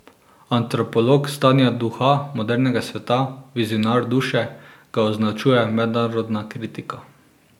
Antropolog stanja duha modernega sveta, vizionar duše, ga označuje mednarodna kritika.